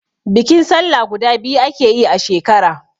Bikin sallah guda biyu ake yi a shekara